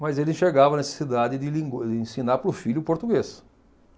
mas ele enxergava a necessidade de lingu de ensinar para o filho o português.